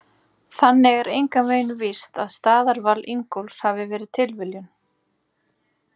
Þannig er engan veginn víst að staðarval Ingólfs hafi verið tilviljun!